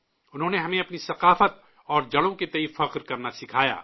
انہوں نے ہمیں اپنی ثقافت اور جڑوں کے تئیں فخر کرنا سکھایا